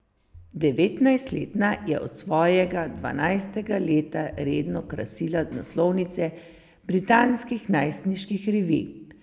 Devetnajstletna je od svojega dvanajstega leta redno krasila naslovnice britanskih najstniških revij.